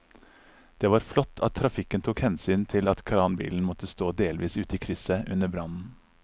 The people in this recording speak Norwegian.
Det var flott at trafikken tok hensyn til at kranbilen måtte stå delvis ute i krysset under brannen.